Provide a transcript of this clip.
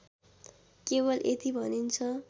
केवल यति भनिन्छ